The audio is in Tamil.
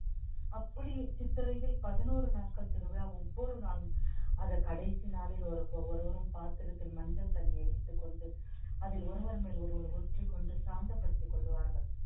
அப்படி சித்திரையில் பதினோரு நாட்கள் திருவிழா ஒவ்வொரு நாளும் அதை கடைசி நாளில் ஒரு~ ஒவ்வொருவரும் பாத்திரத்தில் மஞ்சள் தண்ணியை வைத்துக் கொண்டு அதில் ஒருவர் மேல் ஒருவர் ஊற்றிக்கொண்டு சாந்தப்படுத்திக் கொள்வார்கள்